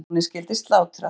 Laxalóni skyldi slátrað.